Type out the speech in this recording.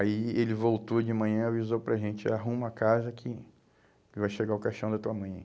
Aí ele voltou de manhã e avisou para a gente, arruma a casa que vai chegar o caixão da tua mãe aí.